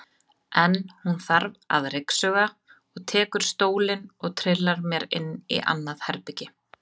En hún þarf að ryksuga og tekur stólinn og trillar mér inn í annað herbergi.